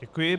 Děkuji.